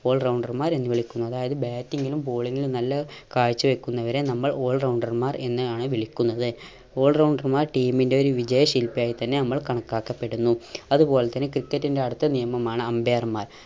all rounder മാർ എന്ന് വിളിക്കുന്നു അതായത് batting ലും bowling ലും നല്ല കാഴ്ച വെക്കുന്നവരെ നമ്മൾ all rounder മാർ എന്ന് ആണ് വിളിക്കുന്നത് all rounder മാർ team ന്റെ ഒരു വിജയ ശില്പിയായ് തന്നെ നമ്മൾ കണക്കാക്കപ്പെടുന്നു. അതുപോലെ തന്നെ ക്രിക്കറ്റിൻറെ അടുത്ത നിയമമാണ് umpire മാർ